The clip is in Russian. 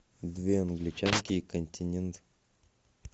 две англичанки и континент